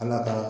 Ala ka